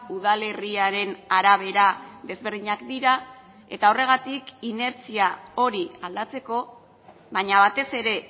udalerriaren arabera desberdinak dira eta horregatik inertzia hori aldatzeko baina batez ere